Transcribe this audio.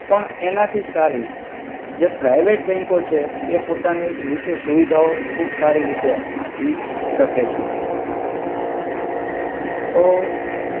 પણ એનાથી સારી જે પ્રિવેટ બેંકો છે એ પોતાની રિતે સુવિધા ઓ ખુબ સારિ રિતે આપિ સકે છે.